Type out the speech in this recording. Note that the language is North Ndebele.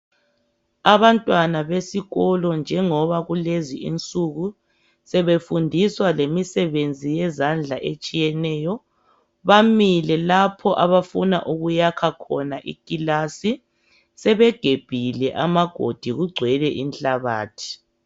Abantwana besikolo njengoba kulezi insunku sebefundiswa lemisebenzi yezandla etshiyeneyo, bamile lapho abafuna ukuyakha khona ikilasi sebegebhile amagodi kugcwele inhlabathi.